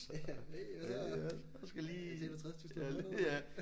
Ja hey hvad så jeg tjener 60 tusind om måneden